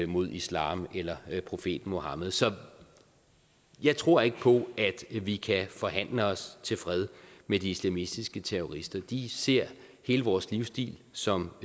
mod islam eller profeten muhammed så jeg tror ikke på at vi kan forhandle os til fred med de islamistiske terrorister de ser hele vores livsstil som